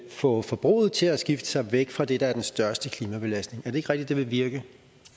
få forbruget til at skifte sig væk fra det der er den største klimabelastning er det ikke rigtigt vil virke